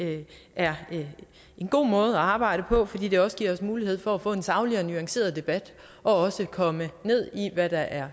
er en god måde at arbejde på fordi det også giver os mulighed for at få en saglig og nuanceret debat og komme ned i hvad der er